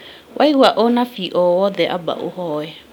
Waigua ũnabii o wothe amba ũhoye